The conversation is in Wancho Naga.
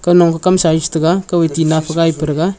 kaunong kah kamsa ye chitaiga kauye tina phai gai pa thega.